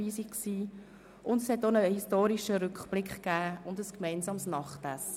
Es gab auch einen historischen Rückblick und ein gemeinsames Nachtessen.